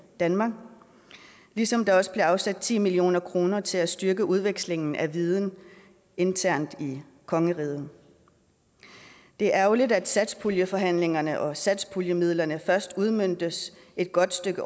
danmark ligesom der også blev afsat ti million kroner til at styrke udvekslingen af viden internt i kongeriget det er ærgerligt at satspuljeforhandlingerne og satspuljemidlerne først udmøntes et godt stykke